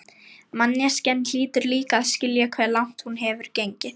Manneskjan hlýtur líka að skilja hve langt hún hefur gengið.